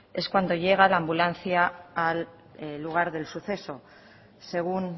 es cuando llega la ambulancia al lugar del suceso según